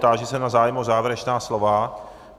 Táži se na zájem o závěrečná slova.